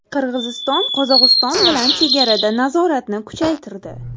Qirg‘iziston Qozog‘iston bilan chegarada nazoratni kuchaytirdi.